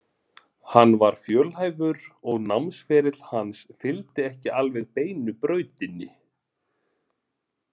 Hann var fjölhæfur og námsferill hans fylgdi ekki alveg beinu brautinni.